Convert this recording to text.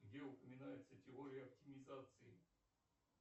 где упоминается теория оптимизации